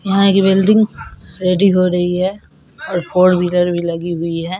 यहां एक building ready हो रही है और फोर व्हीलर लगी हुई है।